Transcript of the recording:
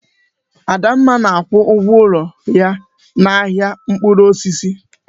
Adamma na-akwụ ụgwọ ụlọ ahịa n'ahịa mkpụrụ osisi.